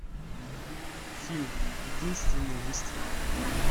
фильм единственный выстрел